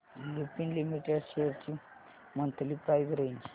Lupin limited shares ची monthly price range